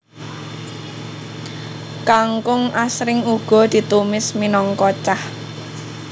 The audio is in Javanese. Kangkung asring uga ditumis minangka cah